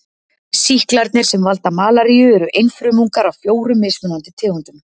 Sýklarnir sem valda malaríu eru einfrumungar af fjórum mismunandi tegundum.